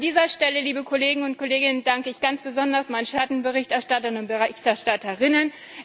An dieser Stelle, liebe Kolleginnen und Kollegen, danke ich ganz besonders meinen Schattenberichterstattern und Schattenberichterstatterinnen.